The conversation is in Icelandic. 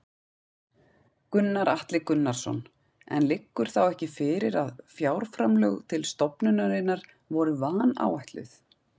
Gunnar Atli Gunnarsson: En liggur þá ekki fyrir að fjárframlög til stofnunarinnar voru vanáætluð?